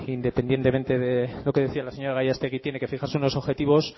independientemente de lo que decía la señora gallastegui tiene que fijarse unos objetivos